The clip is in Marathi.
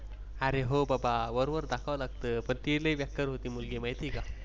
अरे हो बाबा वरवर दाखवाव लागत ती लय बेकार होती मुलगी माहिती आहे का?